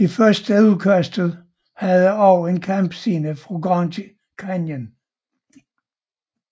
Det første udkast havde også en kampscene i Grand Canyon